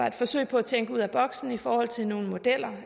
et forsøg på at tænke ud af boksen i forhold til nogle modeller